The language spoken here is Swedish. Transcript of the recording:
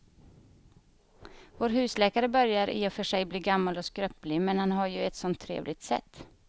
Vår husläkare börjar i och för sig bli gammal och skröplig, men han har ju ett sådant trevligt sätt!